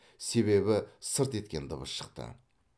себебі сырт еткен дыбыс шықты